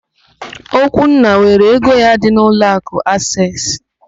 Okwunna were ego ya dị n'ụlọakụ Aseesị.